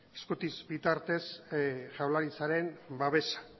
eskutitz bitartez jaurlaritzaren babesa